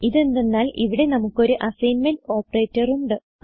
ഇതെന്തന്നാൽ ഇവിടെ നമുക്കൊരു assignment operator ഉണ്ട്